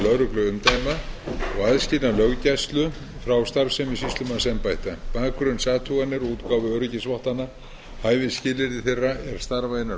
lögregluumdæma og aðskilnað löggæslu frá starfsemi sýslumannsembætta bakgrunnsathuganir og útgáfu öryggisvottana hæfisskilyrði þeirra er starfa innan